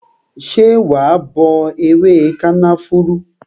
Ṣé wa bọ ewé kànáfùrú?